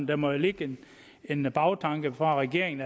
der må jo ligge en en bagtanke fra regeringen